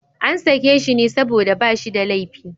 An sake shi ne saboda ba shi da laifi.